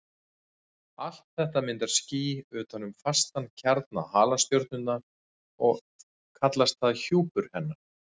Allt þetta myndar ský utan um fastan kjarna halastjörnunnar og kallast það hjúpur hennar.